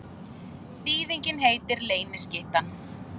Þýðingin heitir Leyniskyttan.